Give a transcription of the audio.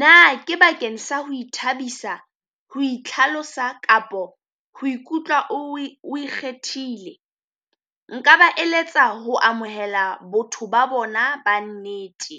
Na ke bakeng sa ho ithabisa, ho itlhalosa kapo ho ikutlwa o e o ikgethile nka ba eletsa ho amohela batho ba bona ba nnete.